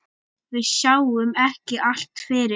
Við sjáum ekki allt fyrir.